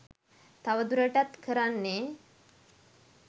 තව දුරටත් කරන්නේ